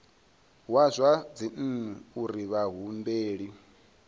wa zwa dzinnu uri vhahumbeli